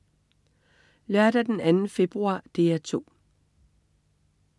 Lørdag den 2. februar - DR 2: